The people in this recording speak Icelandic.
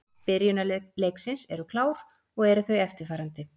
Byrjunarlið leiksins eru klár og eru þau eftirfarandi: